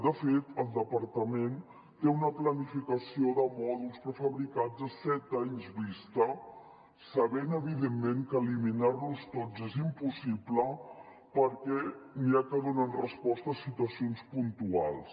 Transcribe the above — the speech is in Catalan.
de fet el departament té una planificació de mòduls prefabricats a set anys vista sabent evidentment que eliminar los tots és impossible perquè n’hi ha que donen resposta a situacions puntuals